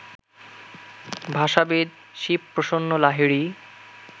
ভাষাবিদ Shibaprasanna Lahiri